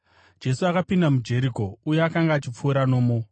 Jesu akapinda muJeriko uye akanga achipfuura nomo.